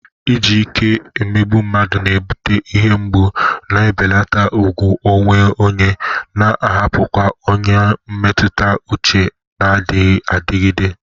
Iji ike emegbu mmadụ na-ebute ihe mgbu, na-ebelata ùgwù onwe onye, na-ahapụkwa ọnyá mmetụta uche na-adịgide adịgide.